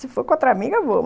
Se for com outra amiga, eu vou.